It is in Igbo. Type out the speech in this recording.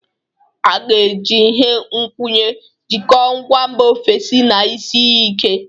A ga-eji ihe nkwụnye jikọọ ngwa mba ofesi na isi iyi ike.